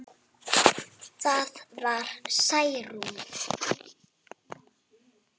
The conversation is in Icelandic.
Það var Særún.